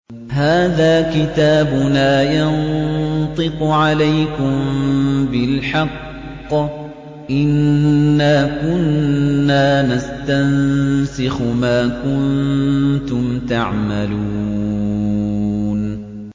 هَٰذَا كِتَابُنَا يَنطِقُ عَلَيْكُم بِالْحَقِّ ۚ إِنَّا كُنَّا نَسْتَنسِخُ مَا كُنتُمْ تَعْمَلُونَ